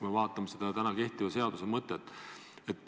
See peaks olema praegu kehtiva seaduse mõte.